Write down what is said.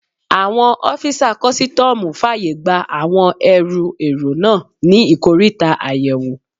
Àwọn ọ́fisà kọ́sítọ́mù fàyè gba àwọn ẹrù èrò náà ní ikoríta àyẹ̀wò